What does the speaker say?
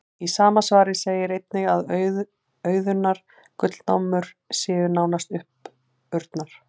Í sama svari segir einnig að auðunnar gullnámur séu nánast uppurnar.